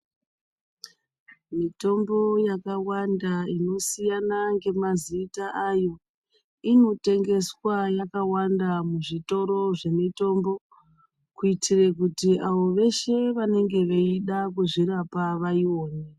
Mitombo yakawanda inosiyana ngemazita ayo, inotengeswa yakawanda muzvitoro zvemitombo, kuitire kuti avo veshe vanenge veida kuzvirapa vaiwone.